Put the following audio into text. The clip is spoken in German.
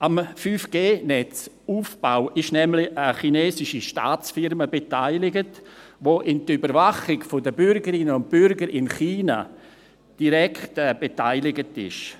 Am 5G-Netzaufbau ist nämlich eine chinesische Staatsfirma beteiligt, die an der Überwachung der Bürgerinnen und Bürger in China direkt beteiligt ist.